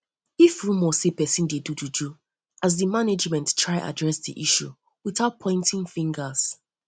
if rumor dey sey person dey do juju as di management management try address di issue without pointing fingers